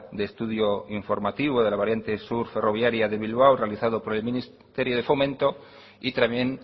de estudio informativo de la variante sur ferroviaria de bilbao realizado por el ministerio de fomento y también